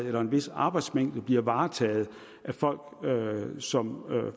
eller en vis arbejdsmængde bliver varetaget af folk som